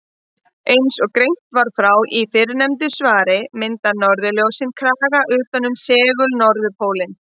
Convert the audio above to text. Svea, hvað er á áætluninni minni í dag?